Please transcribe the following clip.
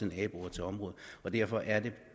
naboerne til området derfor er det